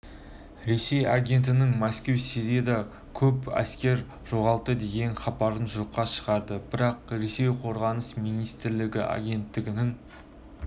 ресей агенттігінің мәскеу сирияда көп әскер жоғалтты деген хабарын жоққа шығарады бірақ ресей қорғаныс министрлігі агенттігінің